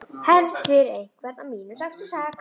Hefnd fyrir einhvern af mínum sextíu og sex.